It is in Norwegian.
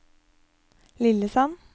Lillesand